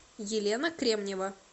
елена кремнева